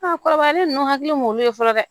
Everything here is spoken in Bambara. kɔrɔbayalen ninnu hakili m'olu ye fɔlɔ dɛ